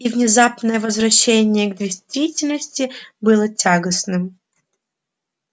и внезапное возвращение к действительности было тягостным